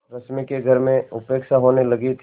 रश्मि की घर में उपेक्षा होने लगी थी